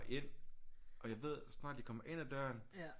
Ind og jeg ved så snart de kommer ind ad døren